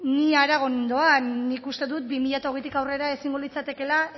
ni harago nindoan nik uste dut bi mila hogeitik aurrera ezingo litzatekeela